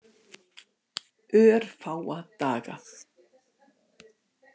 Örfáa daga.